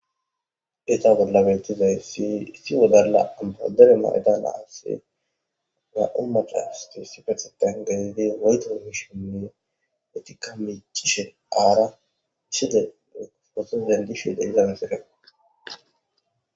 eta bollabettizay sisi wodalla ampodere maydanaasse na7u macasti si fethetan galidi wayto mishinni etika micishen aara chide otozendishi de izan sere